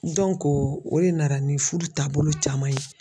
o de nana ni fudu taabolo caman ye.